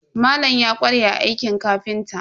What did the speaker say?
Malam ya ƙware a aikin kafinta.